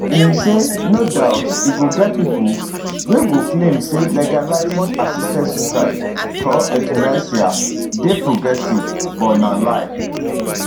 im say no doubt e go get pipo wey go claim say legalising assisted suicide or euthanasia dey progressive but na lie